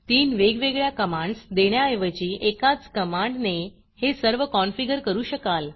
3 वेगवेगळ्या कमांडस देण्याऐवजी एकाच कमांडने हे सर्व कॉनफिगर करू शकाल